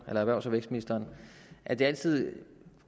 erhvervs og vækstministeren at det altid er